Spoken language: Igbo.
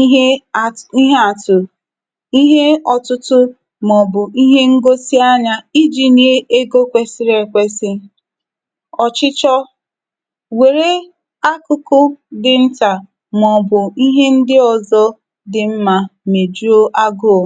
ihe at ihe atụ̀, ihe ọtụtụ maọbụ ihe ngosi anya iji nye ego kwesịrị ekwesị. Ọchịchọ́. Werw akụkụ dị nta maọbụ ihe ndị ọzọ dị mma mejuo agụụ.